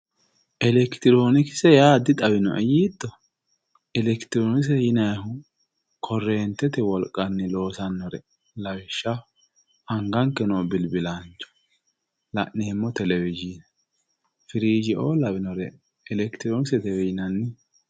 elekitiroonikise yaa dixawinoe yiitto elekitiroonikise yinayiihu korreentete wolqanni loosannore lawishshaho anganke noo bilbilaancho la'neemmo telewozhiine firiijeoo lawinore elekitiroonikisetewe yinanni.